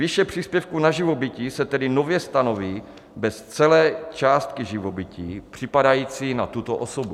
Výše příspěvku na živobytí se tedy nově stanoví bez celé částky živobytí připadající na tuto osobu.